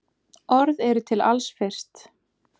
Orð eru til alls fyrst.